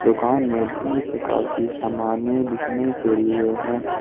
दुकान में भिन्न प्रकार की सामानें बिकने के लिए है।